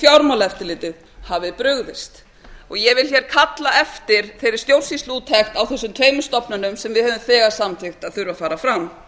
fjármálaeftirlitið hafi brugðist ég vil hér kalla eftir þeirri stjórnsýsluúttekt á þessum tveimur stofnunum sem við höfum þegar samþykkt að þurfi að fara fram